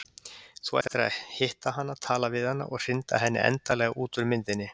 Þú ættir að hitta hana, tala við hana og hrinda henni endanlega út úr myndinni.